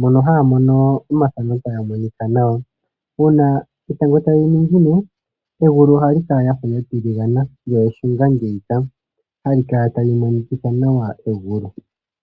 Mono haya mono omathano taga monika nawa. Uuna etango tali ningine egulu ohali kala lya fa lya tiligana lyo eshunga ngeyika hali kala tali monikitha nawa egulu.